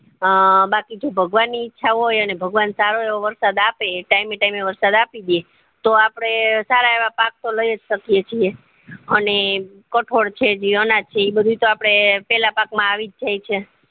હ બાકી જો ભગવાન ની ઈચ્છા હોય અને ભગવાન સારો એવો વરસાદ આપે time એ time એ વરસાદ આપી દે તો આપડે સારા એવા પાક તો લાયજ શકીએ છીએ અને કઠોળ છે જી અનાજ છે ઈ બધું તો આપડે પેલા પાક માં આવીજ જાય છે